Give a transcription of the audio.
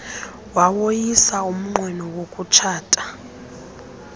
wawoyisa umnqweno wokutshaya